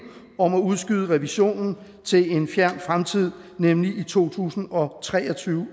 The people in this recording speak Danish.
om at udskyde revisionen til en fjern fremtid nemlig i to tusind og tre og tyve